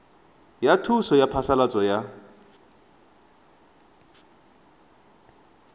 ya thuso ya phasalatso ya